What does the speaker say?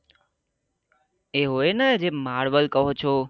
એ હોય ને જેમ માર્વેલ કહો છો